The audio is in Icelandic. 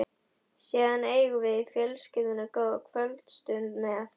Síðan eigum við í fjölskyldunni góða kvöldstund með